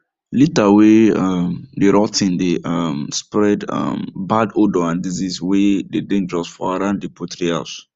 litter way um dey rot ten dey um spread um bad odour and disease way dey dangerous for around the poultry house